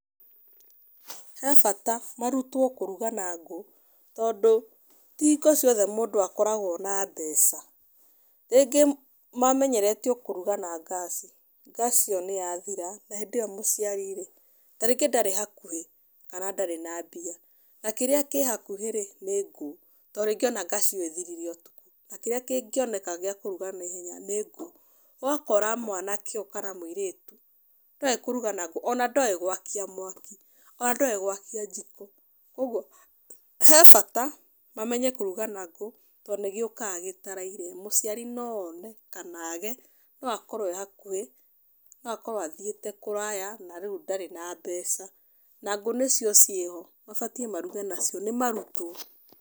He bata mũrutwo kũruga na ngũ. Tondũ ti hingo ciothe mũndũ akoragwo na mbeca. Rĩngĩ mamenyerete o kũruga na ngaci. Ngaci ĩyo nĩ yathira, na hĩndĩ ĩyo mũciari rĩ tarĩngĩ ndarĩ hakuhĩ, kana ndarĩ na mbia. Na kĩrĩa kĩ hakuhĩ rĩ, nĩ ngũ. To rĩngĩ ona ngaci nĩ ĩthirire ũtukũ na kĩrĩa kĩngĩoneka gĩa kũruga nĩ ngũ. Ũgakora mwanake ũyũ kana mũirĩtu, ndoĩ kũruga na ngũ. Ona ndoĩ gwakia mwaki, ona ndoĩ gwakia njiko. Ũguo he bata mamenye kũruga na ngũ to nĩ gĩũkaga gĩtaraire. Mũciari no one, kana aage. No akorwo ee hakuhĩ, no akorwo athiĩte kũraya, na rĩu ndarĩ na mbeca. Na ngũ nĩcio ciĩ ho, mabatiĩ maruge nacio níĩmarutwo.